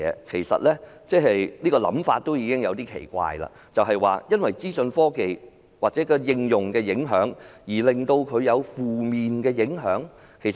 其實，這種想法也有點奇怪，為何資訊科技的應用會對旅遊業有負面的影響？